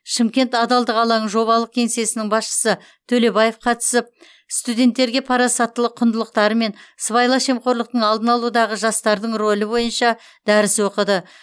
шымкент адалдық алаңы жобалық кеңсесінің басшысы төлебаев қатысып студенттерге парасаттылық құндылықтары мен сыбайлас жемқорлықтың алдын алудағы жастардың рөлі бойынша дәріс оқыды